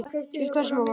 Til hvers mamma?